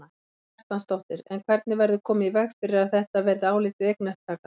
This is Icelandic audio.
Karen Kjartansdóttir: En hvernig verður komið í veg fyrir að þetta verði álitið eignaupptaka?